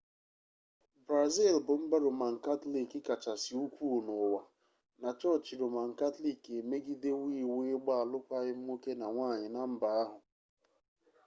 brazil bụ mba roman katọlik kachasị ukwuu n'ụwa na chọọchị roman katọlik emegidewo iwu ịgba alụkwaghịm nwoke na nwanyị na mba ahụ .